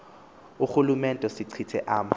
urhulumente sechithe ama